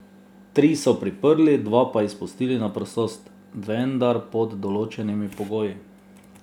Tri so priprli, dva pa izpustili na prostost, vendar pod določenimi pogoji.